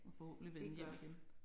Og forhåbentlig vende hjem igen